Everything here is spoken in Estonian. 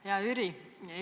Hea Jüri!